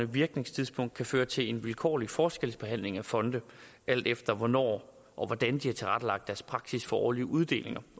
virkningstidspunkt kan føre til en vilkårlig forskelsbehandling af fonde alt efter hvornår og hvordan de har tilrettelagt deres praksis for årlige uddelinger